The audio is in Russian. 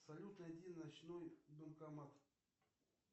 салют найди ночной банкомат